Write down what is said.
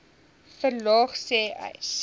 verlaag sê uys